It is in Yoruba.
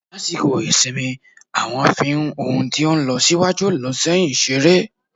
lasikọ isimí, awọn fi n ohún to n losiwajú- loséyin seré